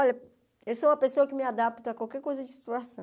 Olha, eu sou uma pessoa que me adapta a qualquer coisa de situação.